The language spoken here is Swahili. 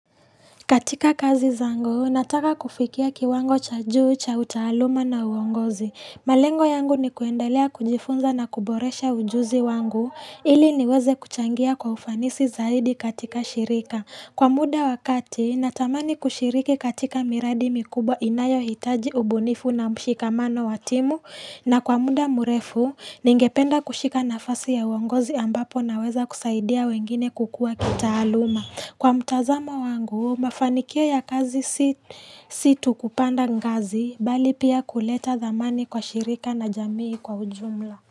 Katika kazi zangu, nataka kufikia kiwango cha juu, cha utaaluma na uongozi. Malengo yangu ni kuendelea kujifunza na kuboresha ujuzi wangu, ili niweze kuchangia kwa ufanisi zaidi katika shirika. Kwa muda wa kati, natamani kushiriki katika miradi mikubwa inayohitaji ubunifu na mshikamano wa timu. Na kwa muda mrefu, ningependa kushika nafasi ya uongozi ambapo naweza kusaidia wengine kukua kitaaluma. Kwa mtazamo wangu, mafanikio ya kazi si tu kupanda ngazi bali pia kuleta dhamani kwa shirika na jamii kwa ujumla.